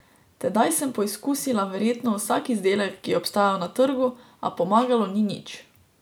Tedaj sem poizkusila verjetno vsak izdelek, ki je obstajal na trgu, a pomagalo ni nič.